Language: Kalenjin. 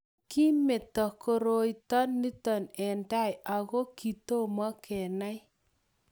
kimito koroito nito eng' tai aku kitomo kenai